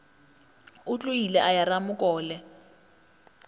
o tlogile a ya ramokole